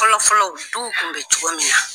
Fɔlɔfɔlɔ duw kun bɛ cogo min na.